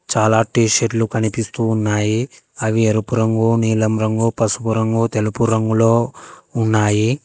చాలా T shirt లు కనిపిస్తూ ఉన్నాయి అవి ఎరుపు రంగు నీలం రంగు పసుపు రంగు తెలుపు రంగులో ఉన్నాయి.